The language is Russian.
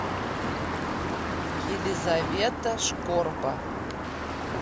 елизавета шкорба